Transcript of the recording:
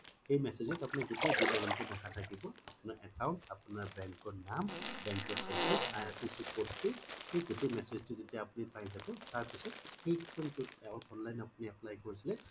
সেই message ত আপুনাৰ গুতেই বিবৰন তো লেখা থাকিব আপুনাৰ account আপুনাৰ bank ৰ নাম bank ৰ address, IFSC code তো সেই message তো যেতিয়া আপুনি পাই জাব তাৰ পিছ্ত সেই form জত আপুনি online apply কোৰিছিলে